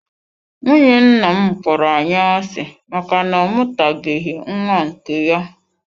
Nwunye nna m kpọrọ anyị asị maka na ọ mụtabeghị nwa nke ya.